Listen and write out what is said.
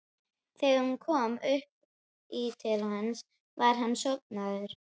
Þegar hún kom upp í til hans var hann sofnaður.